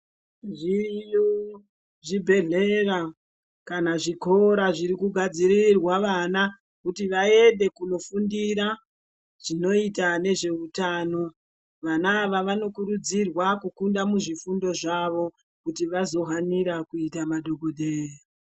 Zviriyo zvibhedhleya kana zvikora zvirikugadzirirwa vana kuti vaende kundofundira zvinoita nezveutano vana ava vanokurudzirwa kukunda muzvifundo zvavo kuti vazohanira kuita madhokodheya.